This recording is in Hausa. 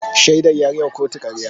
Shaidar ya yi wa kotu karya.